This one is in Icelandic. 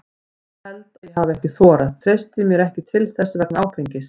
Ég held að ég hafi ekki þorað, treysti mér ekki til þess vegna áfengis.